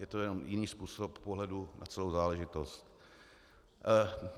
Je to jenom jiný způsob pohledu na celou záležitost.